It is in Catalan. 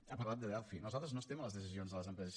ha parlat de delphi nosaltres no estem a les decisions de les empreses